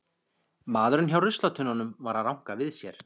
Maðurinn hjá ruslatunnunum var að ranka við sér.